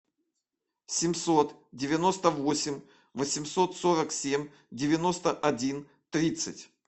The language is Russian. семьсот девяносто восемь восемьсот сорок семь девяносто один тридцать